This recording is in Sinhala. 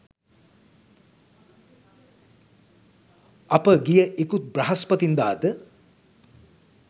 අප ගිය ඉකුත් බ්‍රහස්පතින්දාද